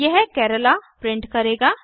यह केराला प्रिंट करेगा